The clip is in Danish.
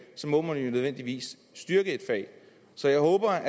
så må man nødvendigvis styrke faget så jeg håber